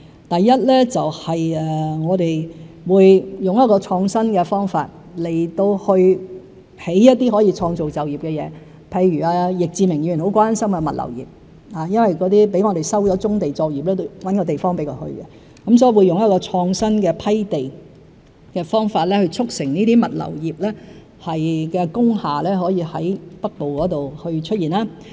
第一，我們會以創新方法興建一些可以創造就業的設施，譬如易志明議員很關心的物流業，有些被我們收了棕地作業，要另覓地方安置，所以我們會用創新的批地方法，促成物流業的工廈在北部出現。